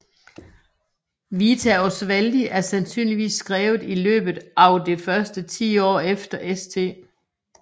Vita Oswaldi er sandsynligvis skrevet i løbet av det første tiår efter St